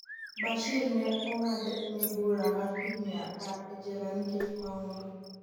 Bashir ne ong'ad ne bura mar higni apar e jela nikech mahundu